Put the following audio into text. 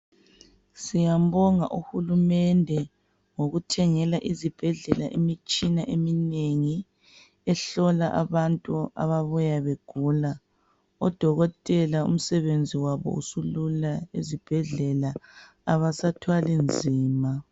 Siyambonga uhurumende ngokuthengela izibhedlela imitshina eminengi yokuhlola abababuya begula. Odokotela umsebenzi wabo usulula esibhedlela. Abasathwali nzima.